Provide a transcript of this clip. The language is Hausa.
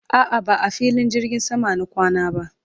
a'a ba a filin jirgin sama na kwana ba